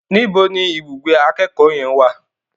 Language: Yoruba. Níbo ni ibùgbé akẹ́kọ̀ọ́ yẹn wà?